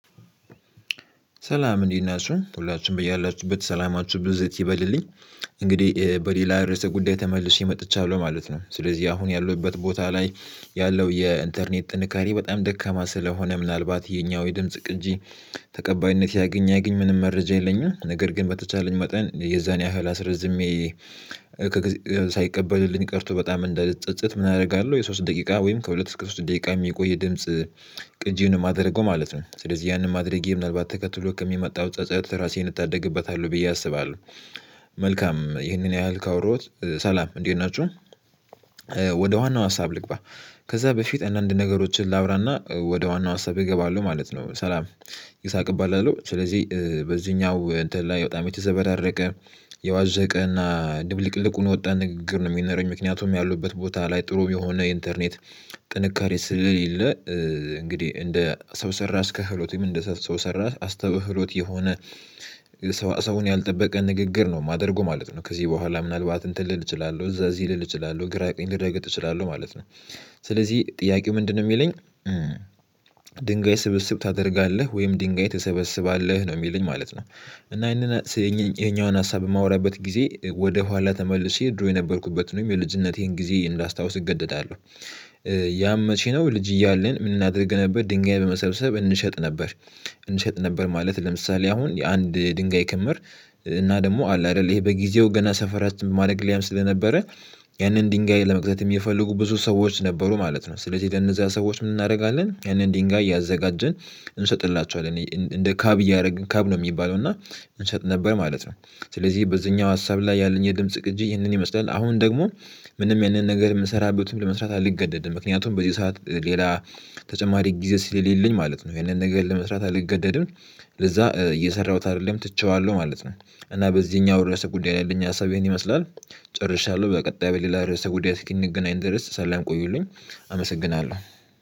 ሰላም እንዴት ናችሁ ሁላችሁም ብያላችሁበት ሰላማችሁ ብዝት ይበልልኝ። እንግዲህ በሌላ ርዕሰ ጉዳይ ተመልሼ መጥቻለሁ ማለት ነው። ስለዚህ አሁን ያለሁበት ቦታ ላይ ያለው የኢንተርኔት ጥንካሬ በጣም ደካማ ስለሆነ ምናልባት የኛው የድምጽ ቅጂ ተቀባይነት ያግኝ አያግኝ ምንም መረጃ የለኝም ነገር ግን በተቻለኝ መጠን የዛን ያህል አስረዝሜ። ሳይቀበልልኝ ቀርቶ በጣም እንዳልጸጸት ምን አደርጋለሁ? የሶስት ደቂቃ ወይም ከሁለት እስከ ሶስት ደቂቃ የሚቆይ የድምጽ ቅጂን የማደርገው ማለት ነው። ስለዚህ ያንን አድርጌ ምናልባት ተከትሎ ከሚመጣው ጸጸት ራሴን እታደግበታለሁ ብዬ አስባለሁ። መልካም ይህንን ያህል ካወራሁት ሰላም እንዴት ናችሁ? ወደ ዋናው ሀሳብ ልግባ። ከዛ በፊት አንዳንድ ነገሮችን ላውራና ወደ ዋናው ሀሳብ እገባለሁ ማለት ነው። ሰላም ይስሐቅ እባላለሁ። ስለዚህ በዚህኛው እንትን ላይ በጣም የተዘበራረቀ የዋዘቀ እና ድብልቅልቅ ሆኖ ወጣ ንግግር ነው የሚነረኝ ምክንያቱም ያሉበት ቦታ ላይ ጥሩ የሆነ ኢንተርኔት ጥንካሬ ስለሌለ። እንግዲህ እንደ ሰው ሰራሽ ክህሎትም እንደ ሰው ሰራሽ አስተውሎት የሆነ ሰው ሰውን ያልጠበቀ ንግግር ነው የማደርገው ማለት ነው። ከዚህ በኋላ ምናልባት እንትን ልል እችላለሁ እዛ እዚህ ልል እችላለሁ ግራ ቀኝ ልረግጥ እችላለሁ ማለት ነው። ስለዚህ ጥያቄው ምንድነው? የሚለኝ ድንጋይ ስብስብ ታደርጋለህ ወይም ድንጋይ ትሰበስባለህ ነው የሚልህ ማለት ነው። እና ይሄኛውን ሀሳብ የማወራበት ጊዜ ወደ ኋላ ተመልሼ ድሮ የነበርኩበትን የልጅነቴን ጊዜ እንዳስታውስ እገደዳለሁ። ያም መቼ ነው ልጅ እያልን ምን እናደርግ ነበር ድንጋይ በመሰብሰብ እንሸጥ ነበር። እንሸጥ ነበር ማለት ለምሳሌ አሁን የአንድ ድንጋይ ክምር እና ደግሞ አለ አይደል ይሄ በጊዜው ገና ሰፈራ ማደግ ላይም ስለነበረ ያንን ድንጋይ ለመግዛት የሚፈልጉ ብዙ ሰዎች ነበሩ ማለት ነው። ስለዚህ ለእነዚያ ሰዎች ምን እናደርጋለን? ያንን ድንጋይ ያዘጋጀን እንሰጥላችኋለን እንደ ካብ እያደረግን ካብ ነው የሚባለው እና እንሸጥ ነበር ማለት ነው። ስለዚህ በዚህኛው ሀሳብ ላይ ያለኝ የድምጽ ቅጂ ይህንን ይመስላል። አሁን ደግሞ ምንም ያንን ነገር የምሰራበትን ብለህ መስራት አልገደድም ምክንያቱም በዚህ ሰዓት ሌላ ተጨማሪ ጊዜ ስለሌለኝ ማለት ነው። ይሄንን ነገር ለመስራት አልገደድም ለዛ እየሰራሁት አይደለም ትቼዋለሁ ማለት ነው። እና በዚህኛው ድረስ ጉዳይ ላይ ያለኝ ሀሳብ ይሄን ይመስላል። ጭርሻለሁ በቀጣይ በሌላ ርዕሰ ጉዳይ እስክንገናኝ ድረስ ሰላም ቆዩልኝ አመሰግናለሁ